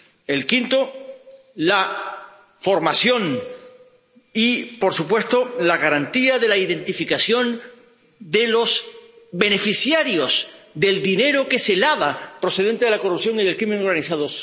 El quinto, la formación y, por supuesto, la garantía de la identificación de los beneficiarios del dinero que se lava procedente de la corrupción y de la delincuencia organizada.